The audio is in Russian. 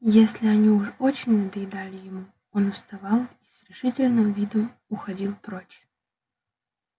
если они уж очень надоедали ему он вставал и с решительным видом уходил прочь